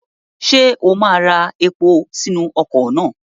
Ṣé o máa ra epo sínú ọkọ̀ náà?